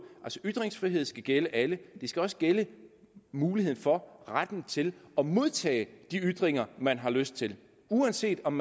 ytringsfrihed skal gælde alle det skal også gælde muligheden for og retten til at modtage de ytringer man har lyst til uanset om